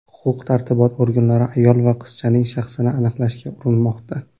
Huquq-tartibot organlari ayol va qizchaning shaxsini aniqlashga urinmoqda.